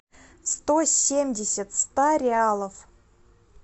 сто семьдесят ста реалов